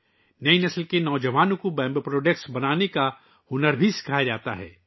نئی نسل کے نوجوانوں کو بانس کی مصنوعات بنانا بھی سکھایا جاتا ہے